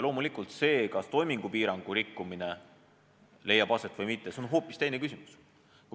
Loomulikult, see, kas toimingupiirangu rikkumine leiab aset või mitte, on hoopis teine küsimus.